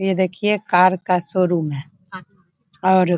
ये देखिए कार का शोरुम है और --